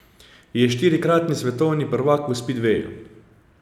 Je štirikratni svetovni prvak v spidveju.